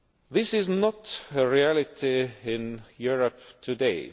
This is not a reality in Europe today.